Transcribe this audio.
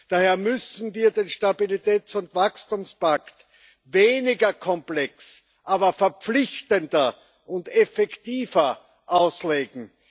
Daher müssen wir den Stabilitäts und Wachstumspakt weniger komplex, aber verpflichtender und effektiver auslegen.